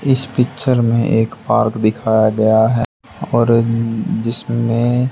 इस पिक्चर में एक पार्क दिखाया गया है और जिसमें--